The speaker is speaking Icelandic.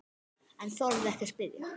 En þorði ekki að spyrja.